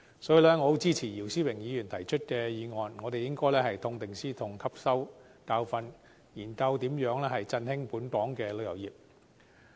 所以，我十分支持姚思榮議員提出的議案，我們應該痛定思痛，汲取教訓，研究如何振興本港旅遊業。